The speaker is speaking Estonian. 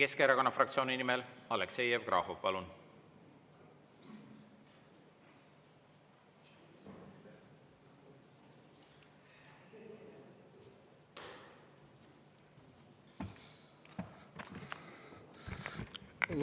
Eesti Keskerakonna fraktsiooni nimel Aleksei Jevgrafov, palun!